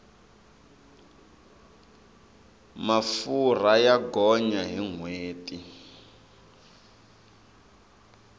mafurha ya gonya hi nhweti